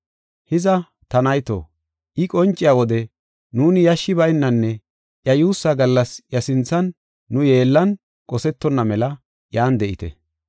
Hiza, ta nayto, I qonciya wode nuuni yashshi baynanne iya yuussaa gallas iya sinthan nu yeellan qosetonna mela iyan de7ite.